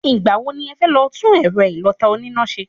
Ìgbà wo ni ẹfẹ́ lọ tún ẹ̀rọ ìlọ̀ta oníná ṣe?